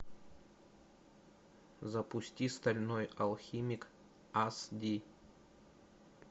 запусти стальной алхимик ас ди